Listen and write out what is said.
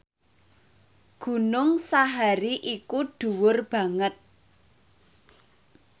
Gunung Sahari iku dhuwur banget